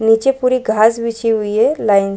नीचे पूरी घाँस बिछी हुई है लाइन --